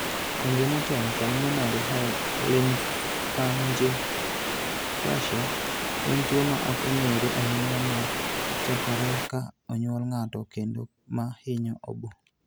Congenital pulmonary lymphangiectasia en tuwo ma ok ong'ere ahinya ma chakore ka onyuol ng'ato kendo ma hinyo obo.